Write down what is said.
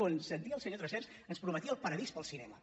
quan sentia el senyor tresserras ens prometia el paradís per al cinema